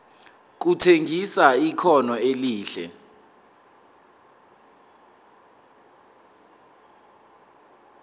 kutshengisa ikhono elihle